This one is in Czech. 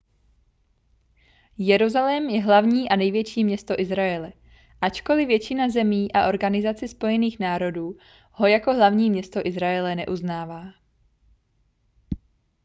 jeruzalém je hlavní a největší město izraele ačkoli většina zemí a organizace spojených národů ho jako hlavní město izraele neuznává